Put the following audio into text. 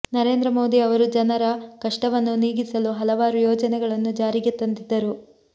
ನರೇಂದ್ರ ಮೋದಿ ಅವರು ಜನರ ಕಷ್ಟವನ್ನು ನೀಗಿಸಲು ಹಲವಾರು ಯೋಜನೆಗಳನ್ನು ಜಾರಿಗೆ ತಂದಿದ್ದರು